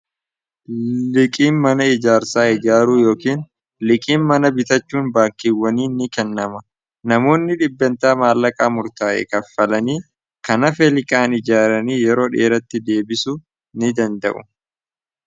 liqiin mana ijaarsaa ijaaruu yookiin liqiin mana bitachuun baakkiiwwanii ni kennama namoonni dhibbeentaa maallaqaa murtaa'e kaffalanii kana feeliqaan ijaaranii yeroo dheeratti deebisu ni danda'u